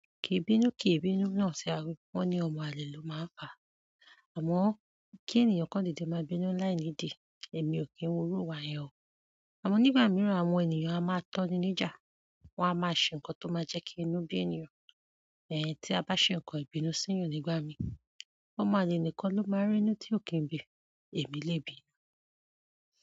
Ki i bínú, ki ì bínú náà ṣe aárú, wọ́n ní ọmọ àlè ló máa ń pa, àmọ́ kí ènìyàn kan dede máa bínú láì nídìí, èmi ò kí n wurù wá yẹn o. Àmọ́ nígbà mìíràn àwọn ènìyàn a máa tọ́ni níjà, wọn a máa ṣe nǹkan tó máa jẹ́ kí inú bí ènìyàn. Tí a bá ṣe nǹkan ìbínú síyan nígbà mí, ọmọ àlè nìkan ló máa n rínú tí ò kí n bí, èmi lè bínú.